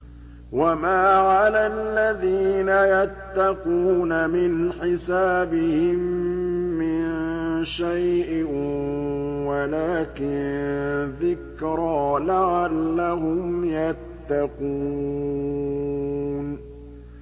وَمَا عَلَى الَّذِينَ يَتَّقُونَ مِنْ حِسَابِهِم مِّن شَيْءٍ وَلَٰكِن ذِكْرَىٰ لَعَلَّهُمْ يَتَّقُونَ